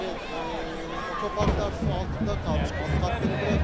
Yəni otoparklar su altında qalmış, alt katları buraxın.